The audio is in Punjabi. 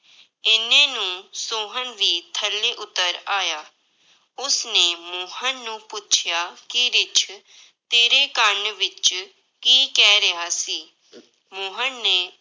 ਇੰਨੇ ਨੂੰ ਸੋਹਨ ਵੀ ਥੱਲੇ ਉੱਤਰ ਆਇਆ, ਉਸਨੇ ਮੋਹਨ ਨੂੰ ਪੁੱਛਿਆ ਕਿ ਰਿੱਛ ਤੇਰੇ ਕੰਨ ਵਿੱਚ ਕੀ ਕਹਿ ਰਿਹਾ ਸੀ ਮੋਹਨ ਨੇ